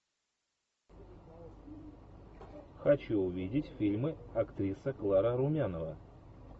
хочу увидеть фильмы актриса клара румянова